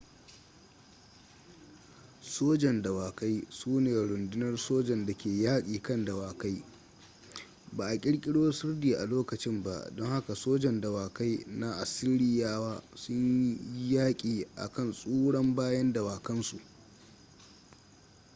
sojan dawakai su ne rundunar sojan da ke yaƙi kan dawakai ba a ƙirƙiro sirdi a lokacin ba don haka sojan dawakai na assiriyawa sun yi yaƙi a kan tsuran bayan dawakan su